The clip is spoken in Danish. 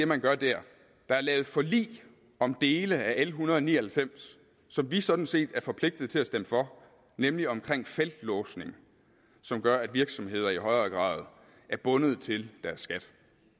man gør der der er lavet forlig om dele af l en hundrede og ni og halvfems som vi sådan set er forpligtet til at stemme for nemlig omkring feltlåsning som gør at virksomheder i højere grad er bundet til deres skat